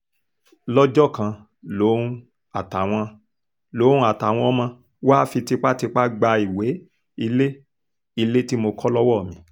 lọ́jọ́ kan lòun àtàwọn lòun àtàwọn ọmọ wàá fi tipátipá gba ìwé ilé ilé tí mo kọ́ lọ́wọ́ mi